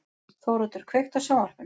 Þóroddur, kveiktu á sjónvarpinu.